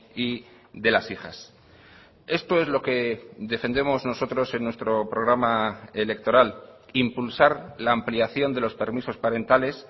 y de las hijas esto es lo que defendemos nosotros en nuestro programa electoral impulsar la ampliación de los permisos parentales